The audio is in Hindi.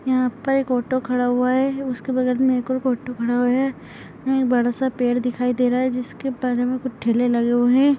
यहां पर एक ऑटो खड़ा हुआ है। उसके बगल में एक और ऑटो खड़ा है। बड़ा सा पेड़ दिखाई दे रहा है जिसके बारे में कुछ ठेले लगे हुए हैं।